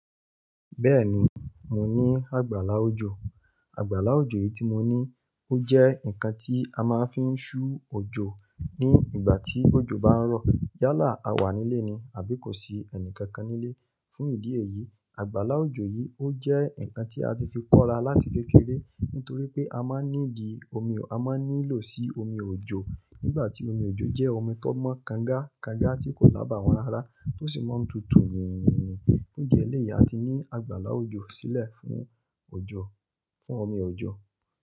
Bẹ́ẹ̀ni, mo ní àgbàlá òjò. Àgbàlá òjò yìí tí mo ní ó jẹ́ ǹkan tí a máa ń fi ń ṣú òjò ní ìgbà tí òjò bá ń rọ̀. Yálà a wà nílé ni àbí kò sí ẹnì kankan nílé. Fún ìdí èyí, àgbàlá òjò yìí ó jẹ́ ǹkan tí a ti fi kóra láti kékeré nítorí pé a máa ń ní di omi, a máa ń nílò sí omi òjò nígbà tí omi òjò jẹ́ omi tó mọ́ kanga kanga tí kò lábà wọn ráárá tó sì máa ń tutù yìnyínìní. Fun idi elẹ̀yìí a ti ní àgbàlá òjò sílẹ̀ fún òjò, fún omi òjò.